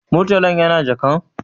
Murtalan yana jakan?